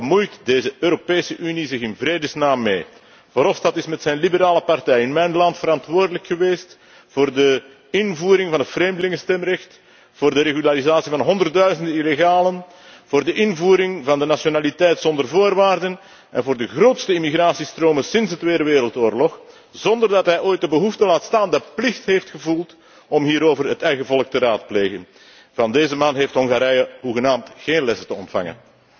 Waar bemoeit deze Europese Unie zich in vredesnaam mee? Verhofstadt is met zijn liberale partij in mijn land verantwoordelijk geweest voor de invoering van het vreemdelingenstemrecht, voor de regularisatie van honderdduizenden illegalen, voor de invoering van de nationaliteit zonder voorwaarden en voor de grootste immigratiestromen sinds de Tweede Wereldoorlog, zonder dat hij ooit de behoefte, laat staan de plicht, heeft gevoeld om hierover het eigen volk te raadplegen. Van deze man heeft Hongarije hoegenaamd geen lessen te ontvangen.